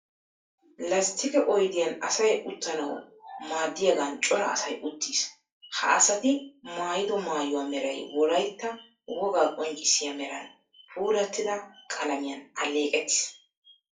Lasttiqe oyidiyan asay uttanawu maaddiyagan cora asay uttiis. Ha Asati maayido maayuwa meray wolaytta wogaa qonccissiya meran puulattida qalamiyan alleeqettis.